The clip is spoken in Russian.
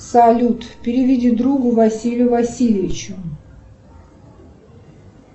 салют переведи другу василию васильевичу